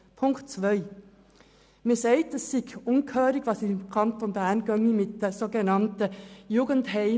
Man sagt, es sei unerhört, die Jugendheime seien im Kanton Bern viel zu teuer.